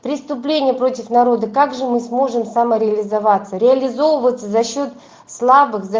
преступление против народа как же мы сможем самореализоваться реализовываться за счёт слабых за